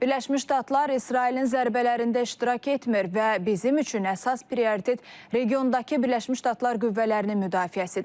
Birləşmiş Ştatlar İsrailin zərbələrində iştirak etmir və bizim üçün əsas prioritet regiondakı Birləşmiş Ştatlar qüvvələrinin müdafiəsidir.